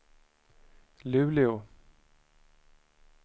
Luleå